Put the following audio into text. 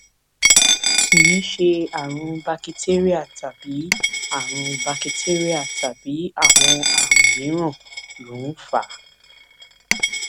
kì í ṣe àrùn bakitéríà tàbí àrùn bakitéríà tàbí àwọn àrùn mìíràn ló ń fà á